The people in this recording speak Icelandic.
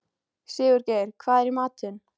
Sigurgeir, hvað er í matinn?